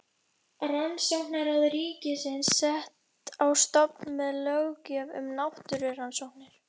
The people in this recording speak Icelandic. Rannsóknaráð ríkisins sett á stofn með löggjöf um náttúrurannsóknir.